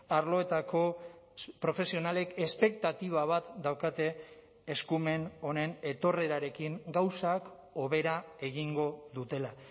arloetako profesionalek espektatiba bat daukate eskumen honen etorrerarekin gauzak hobera egingo dutela